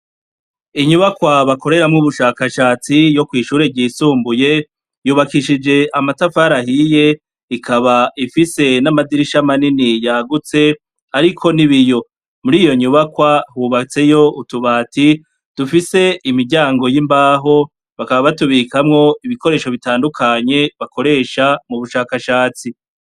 Inyubakwa bakoreramwo ubushakashatsi yo kwishure ry'isumbuye yubakishije amatafari ahiye ikaba ifise n'amadirisha manini yagutse ariko n'ibiyo, muriyo nyubakwa hubatseyo utubati dufise imiryango y'imbaho, bakaba batubikamwo ibikoresho bitandukanye bakoresha mubushakashatsi.